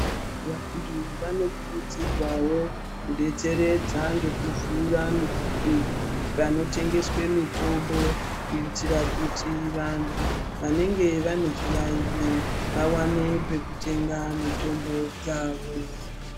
Vantu vanokurudzirwawo kudetseredza ngekuvhura panotengeswe mitombo kuitira kuti vantu vanenge vane zviyaiyo vawane pekutenga mitombo dzavo.